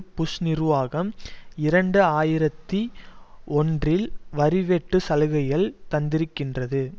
push நிர்வாகம் இரண்டு ஆயிரத்தி ஒன்றில் வரி வெட்டு சலுகைகள் தந்திருக்கின்றது